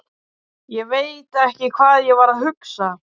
Hún lék sér þar sjálf þegar hún var lítil.